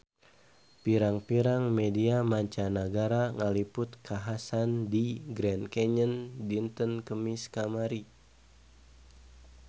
Pirang-pirang media mancanagara ngaliput kakhasan di Grand Canyon dinten Kemis kamari